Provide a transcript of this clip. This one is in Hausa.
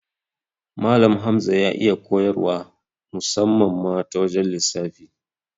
Malan Hamza ya iya koyar wa musamman ma ta wajan lissafi